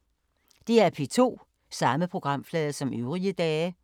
DR P2